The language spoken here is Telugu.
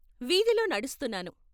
వీధిలో నడుస్తున్నాను.